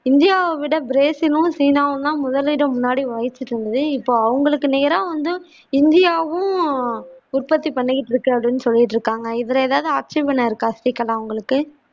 இந்தியாவை விட பிரஸிலும் சீனாவும் தான் முதலிடம் முன்னாடி வஹிச்சுக் கிருந்தது இப்ப அவங்களுக்கு நேரா வந்து இந்தியாவும் உற்பத்தி பண்ணிக்கிட்டு இருக்கிறது சொல்லிக்கிட்டு இருக்காங்க இதுல எதாவது ஆட்சேபனம் இருக்கா ஸ்ரீகலா உங்களுக்கு